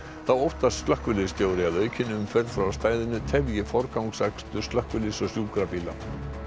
þá óttast slökkviliðsstjóri að aukin umferð frá stæðinu tefji forgangsakstur slökkviliðs og sjúkrabíla